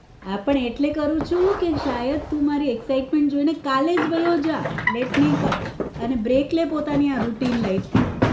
હા પણ એટલે જ કરું છુ કે તું શાયદ તું મારી excitement જોઈ ને કાલે વયો જા લેટ નઈ કર અને break લે આ પોતાની આ rutin life થી